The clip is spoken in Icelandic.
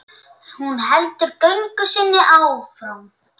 Hleyp allt hvað af tekur.